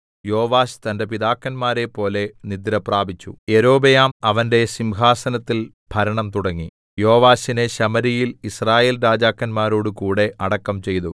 യോവാശ് തന്റെ പിതാക്കന്മാരെപ്പോലെ നിദ്രപ്രാപിച്ചു യൊരോബെയാം അവന്റെ സിംഹാസനത്തിൽ ഭരണം തുടങ്ങി യോവാശിനെ ശമര്യയിൽ യിസ്രായേൽരാജാക്കന്മാരോടു കൂടെ അടക്കം ചെയ്തു